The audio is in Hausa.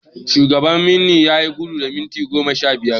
Shugaban wanni yayi gudu na minti sha biyar.